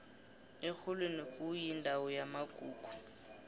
erholweni kuyindawo yamagugu